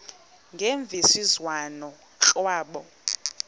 ngemvisiswano r kwabo